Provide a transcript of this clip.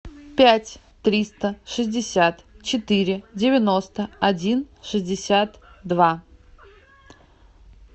пять триста шестьдесят четыре девяносто один шестьдесят два